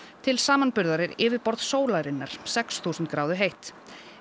til samanburðar er yfirborð sólarinnar sex þúsund gráðu heitt